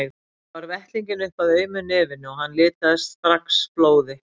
Ég bar vettlinginn upp að aumu nefinu og hann litaðist strax blóði.